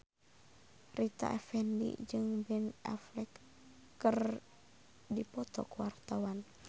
Rita Effendy jeung Ben Affleck keur dipoto ku wartawan